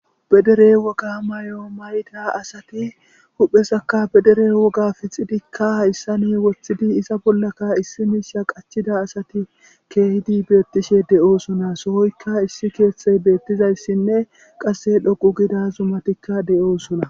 pedere woga may7o mayda asati huphesakka pedere woga fixidikka haissa ni woththidi isa bollaka issi miisha qachida asati keehidi beettishe de7oosuna sohoykka issi keeththey beettizayssinne qasse dhoqu gida zumatikka de7oosuna